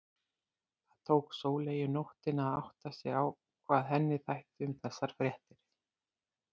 Það tók Sóleyju nóttina að átta sig á hvað henni þætti um þessar fréttir.